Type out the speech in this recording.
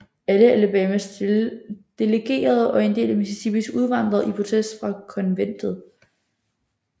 Alle Alabamas delegerede og en del af Mississippis udvandrede i protest fra Konventet